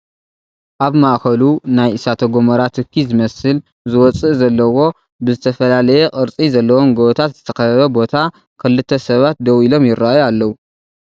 ኣብ ማእኸሉ ናይ እሳተ ጎመራ ትኪ ዝመስል ዝወፅእ ዘለዎ ብ ዝተፈላለየ ቅርፂ ዘለዎም ጎቦታት ዝተኸበበ ቦታ ክልተ ሰባት ደው ኢሎም ይርእዩ ኣለው፡፡